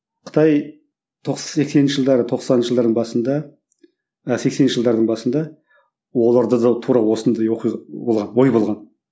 қытай сексенінші жылдары тоқсаныншы жылдардың басында а сексенінші жылдардың басында оларда да тура осындай оқиға болған